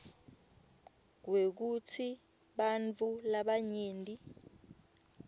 kwekutsi bantfu labanyenti